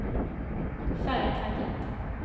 företaget